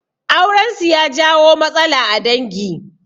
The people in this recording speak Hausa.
Aurensu ya jawo matsala a dangi